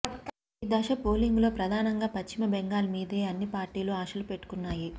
ఈ దశ పోలింగులో ప్రధానంగా పశ్చిమ బెంగాల్ మీదే అన్ని పార్టీలు ఆశలు పెట్టుకున్నాయి